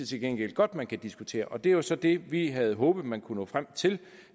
til gengæld godt man kan diskutere og det er så det vi havde håbet man kunne finde frem til